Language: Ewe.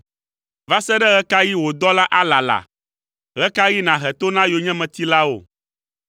Va se ɖe ɣe ka ɣi wò dɔla alala? Ɣe ka ɣi nàhe to na yonyemetilawo?